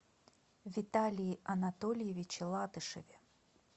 виталии анатольевиче латышеве